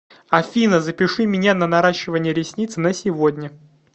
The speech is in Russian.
афина запиши меня на наращивание ресниц на сегодня